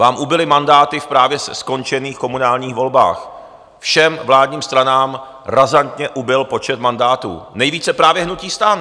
Vám ubyly mandáty v právě skončených komunálních volbách, všem vládním stranám razantně ubyl počet mandátů, nejvíce právě hnutí STAN.